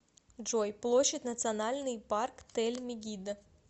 джой площадь национальный парк тель мегиддо